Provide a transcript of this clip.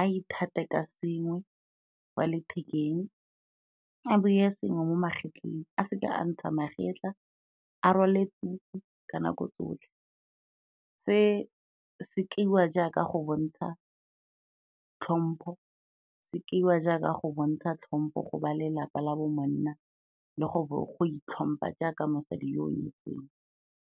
a ithate ka sengwe kwa lethekeng, a beye sengwe mo magetleng a seka a ntsha magetla, a rwale tuku ka nako tsotlhe. Se se kaiwa jaaka go bontsha tlhompho, se kaiwa jaaka go bontsha tlhompo go ba lelapa la bo monna le go itlhompha jaaka mosadi yo o nyetsweng.